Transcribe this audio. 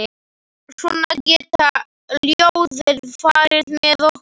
Svona geta ljóðin farið með okkur.